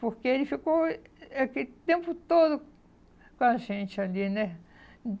Porque ele ficou é aquele tempo todo com a gente ali, né?